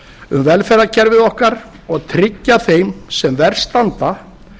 um velferðarkerfið okkar og tryggja þeim sem verst standa